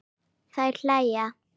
Þær hlæja.